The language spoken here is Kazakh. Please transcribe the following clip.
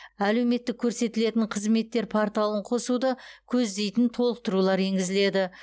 әлеуметтік көрсетілетін қызметтер порталын қосуды көздейтін толықтырулар енгізіледі